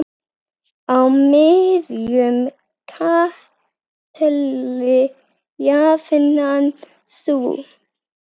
Á miðjum katli jafnan sú.